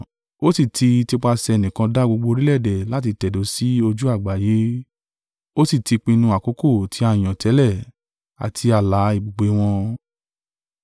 Ó sì tí tipasẹ̀ ẹnìkan dá gbogbo orílẹ̀-èdè láti tẹ̀dó sí ojú àgbáyé, ó sì ti pinnu àkókò tí a yàn tẹ́lẹ̀, àti ààlà ibùgbé wọn;